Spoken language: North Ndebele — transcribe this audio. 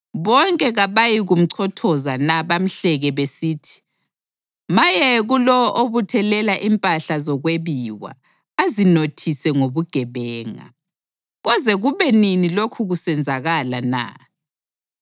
Bonke kabayikumchothoza na bamhleke besithi, ‘Maye kulowo obuthelela impahla zokwebiwa azinothise ngobugebenga! Koze kube nini lokhu kusenzakala na?’